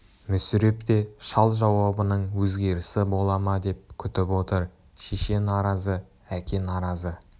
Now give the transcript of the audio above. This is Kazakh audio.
мүсіреп те шал жауабының өзгерісі бола ма деп күтіп отыр шеше наразы әке наразы